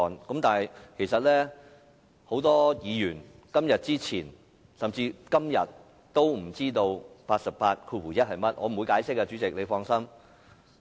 然而，很多議員在今天以前，甚至到了今天也不知道第881條的內容是甚麼。